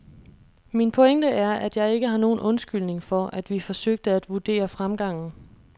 Min pointe er, at jeg ikke har nogen undskyldning for, at vi forsøgte at vurdere fremgangen.